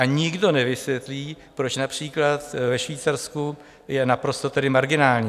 A nikdo nevysvětlí, proč například ve Švýcarsku je naprosto marginální.